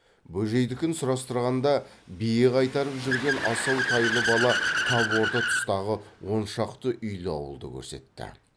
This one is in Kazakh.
бөжейдікін сұрастырғанда бие қайтарып жүрген асау тайлы бала тап орта тұстағы он шақты үйлі ауылды көрсетті